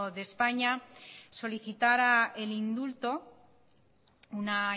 de españa solicitara el indulto una